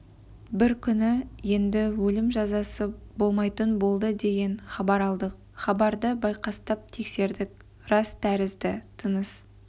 бір күні енді өлім жазасы болмайтын болды деген хабар алдық хабарды байқастап тексердік рас тәрізді тыныс